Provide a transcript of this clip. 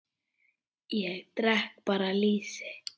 Ég drekk bara lýsi!